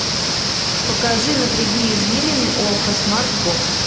покажи напряги извилины окко смарт бокс